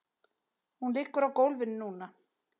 Hún liggur á gólfinu núna.